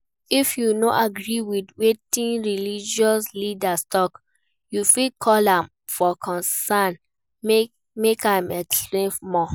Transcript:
If you no agree with wetin religious leader talk, you fit call am for corner make im explain more